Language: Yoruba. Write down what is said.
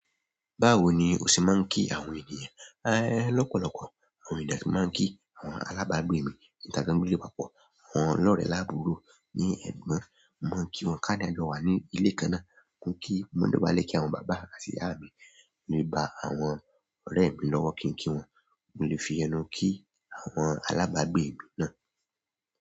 Báwo ni o ṣe máa ń kí àwọn ènìyàn? Lọ́pọ̀lọpọ̀. Àwọn ènìyàn tí máa ń kí, àwọn alábàágbé mi, ìtàgbáńdúgbó ilé ìwàpọ̀, àwọn lọ́rẹ̀ẹ́ lábùúrò ní ẹ̀gbọ́n, mo máa ń kí wọn. Ká dẹ̀ jọwà ní ilé kan náà. Mo kí, mo dọ̀bálẹ̀ kí àwọn bàbá àti ìyá mi, mi gba àwọn ọ̀rẹ́ mi lọ́wọ́ kí n kí wọn. Mo lè fi ẹnu kí àwọn alábàágbé mi náà.